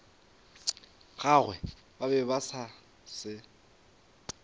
gagwe ba be ba se